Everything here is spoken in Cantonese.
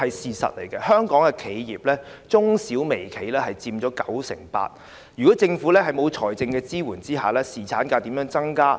事實上，香港的企業、中小微企佔九成八，在政府沒有提供財政支援的情況下，侍產假該如何增加？